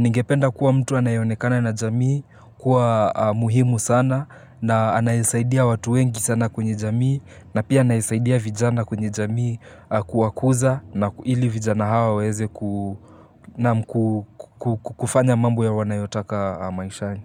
Ningependa kuwa mtu anayeonekana na jamii kuwa muhimu sana na anayesaidia watu wengi sana kwenye jamii na pia anayesaidia vijana kwenye jamii kuwakuza na ili vijana hao waweze kufanya mambo ya wanayotaka maishani.